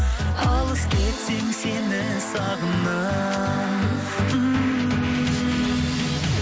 алыс кетсең сені сағынамын ммм